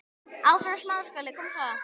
Bless amma okkar.